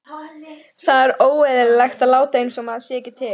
Það er óeðlilegt að láta einsog maður sé ekki til.